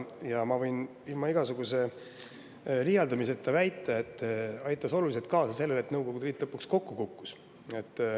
Ma võin ilma igasuguse liialdamiseta väita, et see aitas oluliselt kaasa sellele, et Nõukogude Liit lõpuks kokku kukkus.